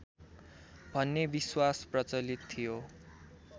भन्ने विश्वास प्रचलित थियो